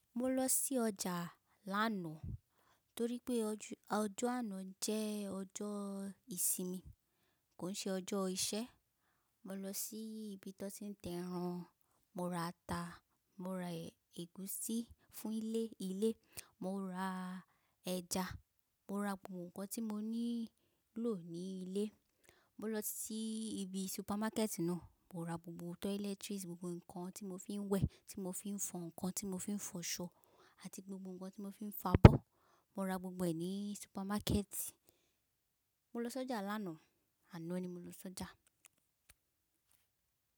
Mo lọ sí ọjà lánàá torí pé ọjọ́ àná jẹ́ ọjọ́ ìsinmi, kò n ṣe ọjọ́ iṣẹ́. Mo lọ sí ibi tó ti ń tẹran, mo ra ata, mo ra ẹ̀gúsí fún ilé, mo ra ẹja, mo ra gbogbo nǹkan tí mo nílò ní ilé. Mo lọ sí ibi supermarket náà, mo ra gbogbo toiletries, gbogbo nǹkan tí mo fi ń wẹ̀, tí mo fi ń fọ ǹnkan, tí mo fi ń fọṣọ àti gbogbo nǹkan tí mo fi ń fabọ́. Mo ra gbogbo ẹ̀ ní supermarket. Mo lọ sọ́jà lánàá, àná ni mo lọ sọ́jà.